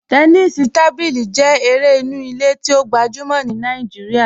Tẹ́nìsí tábílí jẹ èrè ìnú ìlẹ̀ tí o gbajúmọ̀ ní Naijíríà,